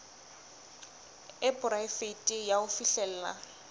e poraefete ya ho fihlella